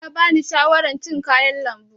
Likita ya bani shawaran cin kayan lambu.